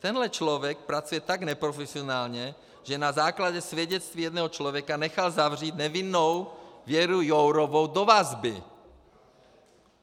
Tenhle člověk pracuje tak neprofesionálně, že na základě svědectví jednoho člověka nechal zavřít nevinnou Věru Jourovou do vazby!